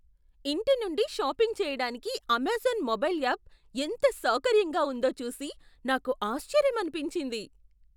ఇంటి నుండి షాపింగ్ చేయడానికి అమెజాన్ మొబైల్ యాప్ ఎంత సౌకర్యంగా ఉందో చూసి నాకు ఆశ్చర్యమనిపించింది.